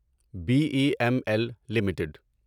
be E M L limited